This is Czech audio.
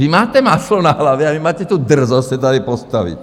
Vy máte máslo na hlavě a vy máte tu drzost se tady postavit!